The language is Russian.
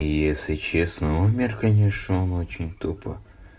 если честно умер конечно он очень тупо